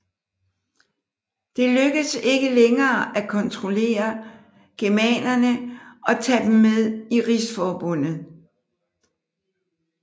Det lykkedes ikke længere at kontrollere germanerne og tage dem med i rigsforbundet